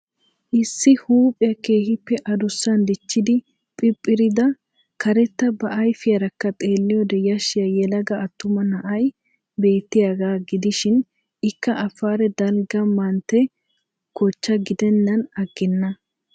Issi huuphphiya keehiippe adusaan dichchidi phiphirida karetta ba ayffiyarakka xeelliyode yashshiya yelaga attuma na'ay beettiyaaga gidishiin ikka afare dalgga mantte kochcha gidennan aggenna.